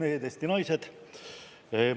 Eesti mehed, Eesti naised!